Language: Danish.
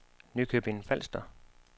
Nykøbing Falster